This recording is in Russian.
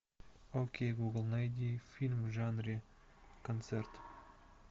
окей гугл найди фильм в жанре концерт